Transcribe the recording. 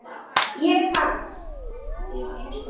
Ég hans.